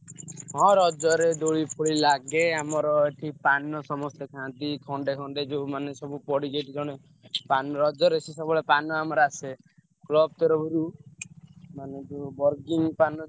ହଁ ରଜରେ ଦୋଳି ଫୋଳି ଲାଗେ। ଆମର ଏଠି ପାନ ସମସ୍ତେ ଖାଆନ୍ତି ଖଣ୍ଡେ ଖଣ୍ଡେ ଯୋଉମାନେ ସବୁ ପଡିଛି ଏଠି ଜଣେ ପାନ ରଜରେ ସେ ସବୁବେଳେ ପାନ ଆମର ଆସେ block ତରଫରୁ ମାନେ ଯୋଉ burning ପାନ।